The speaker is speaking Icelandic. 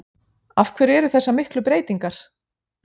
Af hverju eru þessar miklar breytingar?